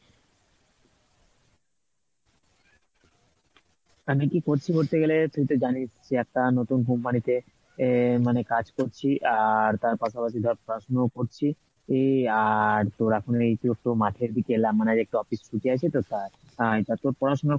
আমি কি করছি বলতো গেলে তুই তো জানিস যে একটা নতুন company তে আহ মানে কাজ করছি আর তার পাশাপাশি ধর পড়াশুনোও করছিই আর তোর এখন মাঠের দিকে এলাম মানে একটু office ছুটি আছে তো তাই আহ তা তোর পড়াশোনার